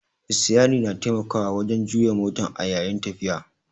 Sitiyari na taimakawa wajan juya motan a yayin tafiya